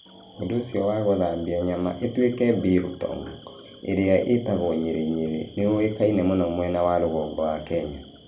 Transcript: Ũndũ ũcio wa gũthambia nyama ĩtuĩke biltong, ĩrĩa ĩĩtagwo nyirinyiri, nĩ ũĩkaine mũno mwena wa rũgongo wa Kenya.